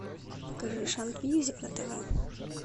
покажи шант мьюзик на тв